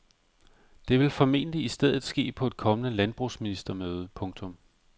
Det vil formentlig i stedet ske på et kommende landbrugsministermøde. punktum